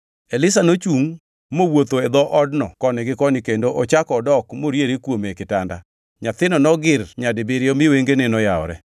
Elisha nochungʼ mowuotho e odno koni gi koni kendo ochako dok moriere kuome e kitanda. Nyathino nogir nyadibiriyo mi wengene noyawore.